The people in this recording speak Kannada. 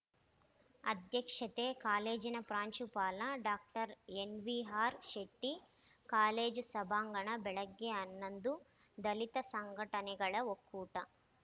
ಅಧ್ಯಕ್ಷತೆ ಕಾಲೇಜಿನ ಪ್ರಾಂಶುಪಾಲ ಡಾಕ್ಟರ್ ನ್‌ವಿಆರ್‌ ಶೆಟ್ಟಿ ಕಾಲೇಜು ಸಭಾಂಗಣ ಬೆಳಗ್ಗೆ ಹನ್ನೊಂದು ದಲಿತ ಸಂಘಟನೆಗಳ ಒಕ್ಕೂಟ